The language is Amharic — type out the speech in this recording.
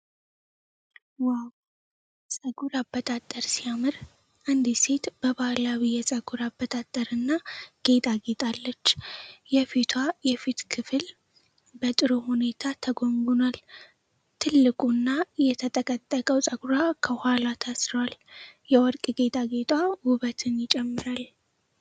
ዋው! ፀጉር አበጣጠር ሲያምር! አንዲት ሴት በባህላዊ የፀጉር አበጣጠርና ጌጥ አጊጣለች። የፊቷ የፊት ክፍል በጥሩ ሁኔታ ተጎንጉኗል። ትልቁ እና የተጠቀጠቀው ፀጉሯ ከኋላ ታስሯል። የወርቅ ጌጣጌጧ ውበትን ይጨምራል።